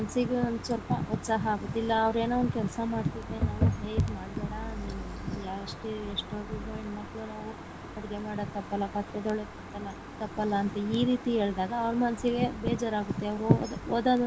ಮನಸ್ಸಿಗೆ ಒಂದ್ ಸ್ವಲ್ಪ ಉತ್ಸಾಹ ಆಗುದಿಲ್ಲ ಅವರೇನು ಒಂದು ಕೆಲಸ ಮಾಡ್ತಿದ್ದಾರೆ ನಾವು ಹೆ~ ಅದ ಮಾಡಬೇಡ ಎಷ್ಟೇ ಓದುದ್ರು ಹೆಣ್ಣಮಕ್ಕಳು ನಾವು ಅಡುಗೆ ಮಾಡೋದು ತಪ್ಪಲ್ಲ ಪಾತ್ರೆ ತೊಳೆದು ತಪ್ಪಲ್ಲ ತಪ್ಪಲ್ಲ ಈ ರೀತಿ ಹೇಳ್ದಾಗ ಅವ್ರ ಮನಸ್ಸಿಗೆ ಬೇಜಾರಾಗುತ್ತೆ ಅವರು ಓದದನ್ನೇ.